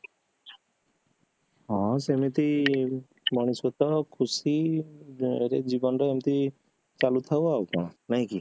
ହଁ ସେମିତି ମଣିଷତ ଖୁସିରେ ଜୀବନରେ ଏମିତି ଚାଲୁଥାଉ ଆଉ କଣ ନାହିଁ କି?